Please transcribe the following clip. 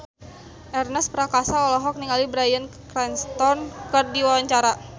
Ernest Prakasa olohok ningali Bryan Cranston keur diwawancara